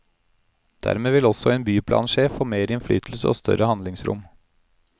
Dermed vil også en byplansjef få mer innflytelse og større handlingsrom.